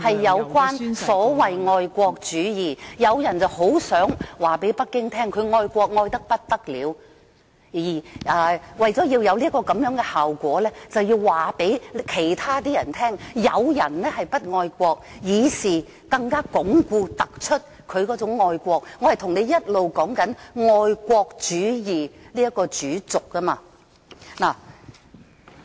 有人很想告訴北京他愛國愛得不得了，而為達致這樣的效果，他便要告訴別人有人不愛國，從而更加鞏固、突出他的愛國。我一直是在說愛國主義這主軸。